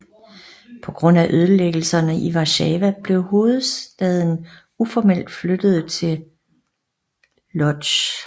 På grund af ødelæggelserne i Warszawa blev hovedstaden uformelt flyttet til Łódź